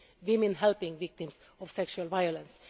women helping victims of sexual violence.